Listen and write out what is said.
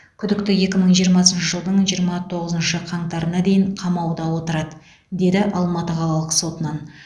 күдікті екі мың жиырмасыншы жылдың жиырма тоғызыншы қаңтарына дейін қамауда отырады деді алматы қалалық сотынан